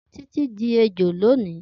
Titi di ejo loni.